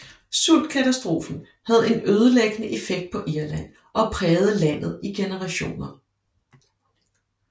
Sultkatastrofen havde en ødelæggende effekt på Irland og prægede landet i generationer